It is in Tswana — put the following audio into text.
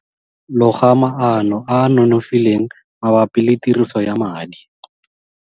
Loga maano a a nonofileng mabapi le tiriso ya madi.